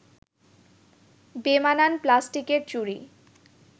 বেমানান প্লাস্টিকের চুড়ি